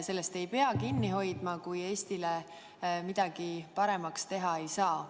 Sellest ei pea kinni hoidma, kui Eesti jaoks midagi paremaks teha ei saa.